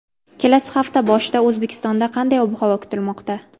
Kelasi hafta boshida O‘zbekistonda qanday ob-havo kutilmoqda?.